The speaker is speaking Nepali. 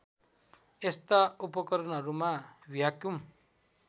यस्ता उपकरणहरूमा भ्याक्युम